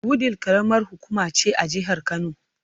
Wudil karamar hukuma ce a jihar Kano.